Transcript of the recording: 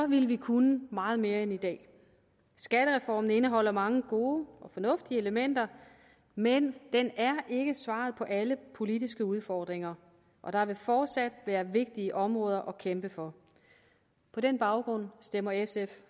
ville vi kunne meget mere end i dag skattereformen indeholder mange gode og fornuftige elementer men den er ikke svaret på alle politiske udfordringer og der vil fortsat være vigtige områder at kæmpe for på den baggrund stemmer sf